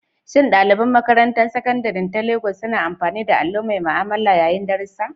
Shin ɗalibai a Makarantar Sakandare ta Legas suna amfani da allo mai ma'amala yayin darussa?